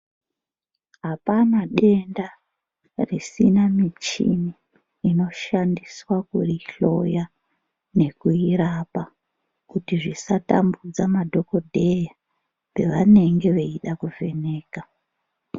Hapana denda risina muchini inoshandiswa kuri hloya nekuirapa kuti zvisatambudza madhokodheya pevanenge veida kuvheneka .